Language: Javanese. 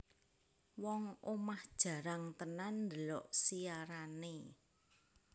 Wong omah jarang tenan ndelok siarane